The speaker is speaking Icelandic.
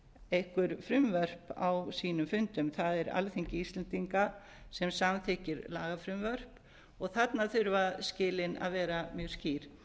einhver frumvörp á sínum fundum það er alþingi íslendinga sem samþykki lagafrumvörp og þarna þurfa skilin að vera mjög skýr